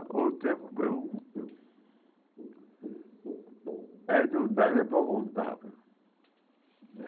O tempo... É não dá nem para contar, viu?